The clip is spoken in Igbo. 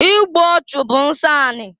Igbu ọchụ bụ nsọ ani.